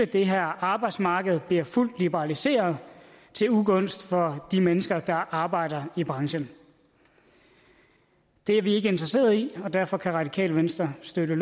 det her arbejdsmarked bliver fuldt liberaliseret til ugunst for de mennesker der arbejder i branchen det er vi ikke interesseret i og derfor kan det radikale venstre støtte